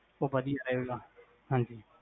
ਊ ਵਦੀਆ